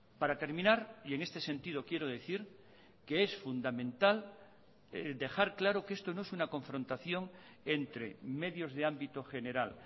para terminar y en este sentido quiero decir que es fundamental dejar claro que esto no es una confrontación entre medios de ámbito general